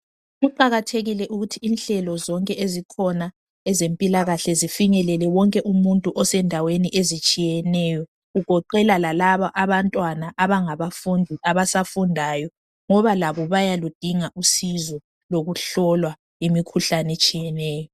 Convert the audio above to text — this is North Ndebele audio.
Kuqakathekile ukuthi inhlelo zonke ezikhona ezempilakahle zifinyelele wonke umuntu osendaweni ezitshiyeneyo kugoqela lalaba abantwana abangabafundi abasafundayo ngabo labo bayaludinga usizo lokuhlolwa imikhuhlane etshiyeneyo.